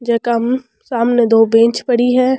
जका मे सामने दो बेंच पड़ी है।